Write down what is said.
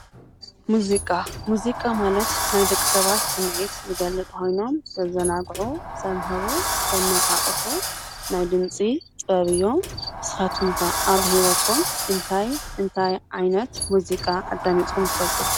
ሙዚቃ፦ ሙዚቃ ማለት ናይ ደቂ ሰባት ስምዒት ዝገልፅ ኮይኖም ዘዘናግዑ፣ ዘምህሩ፣ ዘነቃቅሑ ናይ ድምፂ ጥበብ እዮም። ንስካትኹም ኸ ኣብ ህይወትኹም እንታይ እንታይ ዓይነት ሙዚቃ ኣዳሚፅኹም ትፈልጡ?